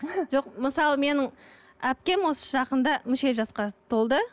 жоқ мысалы менің әпкем осы жақында мүшел жасқа толды